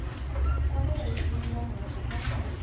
kwame vhaimeleli vha muhasho kha